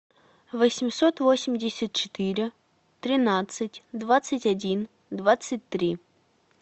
восемьсот восемьдесят четыре тринадцать двадцать один двадцать три